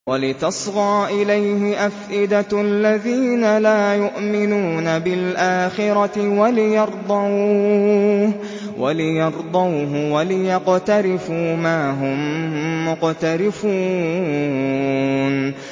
وَلِتَصْغَىٰ إِلَيْهِ أَفْئِدَةُ الَّذِينَ لَا يُؤْمِنُونَ بِالْآخِرَةِ وَلِيَرْضَوْهُ وَلِيَقْتَرِفُوا مَا هُم مُّقْتَرِفُونَ